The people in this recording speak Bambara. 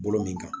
Bolo min kan